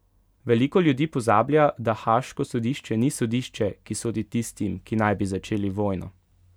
Veliko ljudi pozablja, da Haaško sodišče ni sodišče, ki sodi tistim, ki naj bi začeli vojno.